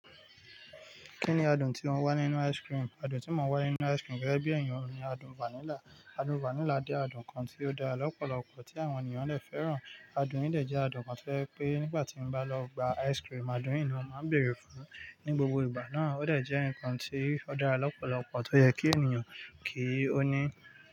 Kí ni adùn tí ó wà nínú ice cream? Adùn tí mo wà nínú ice cream gẹ́gẹ́ bí èèyàn ni adùn vanilla. Adùn vanilla jẹ́ adùn kan tí ó dára lọ́pọ̀lọpọ̀ tí àwọn ènìyàn lè fẹ́ràn. Adùn yìí dẹ̀ jẹ́ adùn kan tí ó jẹ́ pé nígbà tí mo bá lọ gba ice cream, adùn yìí ni màá bèèrè fún ní gbogbo ìgbà náà. Ó dẹ̀ jẹ́ ǹkan tí ó dára lọ́pọ̀lọpọ̀ tó yẹ kí ènìyàn kí ó ní.